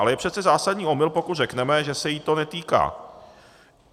Ale je přece zásadní omyl, pokud řekneme, že se jí to netýká.